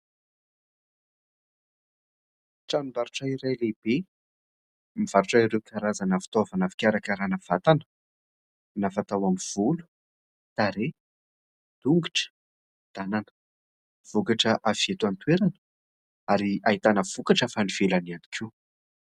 Tranombarotra iray lehibe, mivarotra ireo karazana fitaovana fikarakarana vatana, na fatao amin'ny volo, tarehy, tongotra, tanana. Vokatra avy eto an-toerana ary ahitana vokatra avy any ivelany ihany koa.